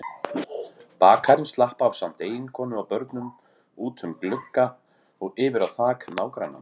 Bakarinn slapp ásamt eiginkonu og börnum út um glugga og yfir á þak nágrannans.